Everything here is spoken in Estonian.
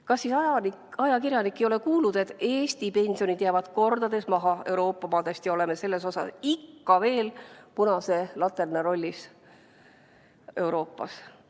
Kas siis ajakirjanik ei ole kuulnud, et Eesti pensionid jäävad kordades maha Euroopa omadest ja me oleme selles osas ikka veel punase laterna rollis Euroopas?